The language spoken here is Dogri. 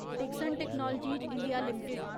Dixon technologies India limited